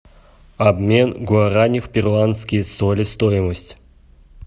обмен гуарани в перуанские соли стоимость